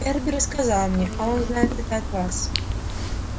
эрби рассказал мне а он знает это от вас